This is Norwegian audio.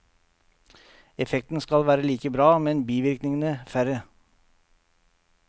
Effekten skal være like bra, men bivirkningene færre.